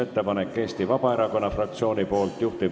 Austatud kolleegid, tänane istung on lõppenud.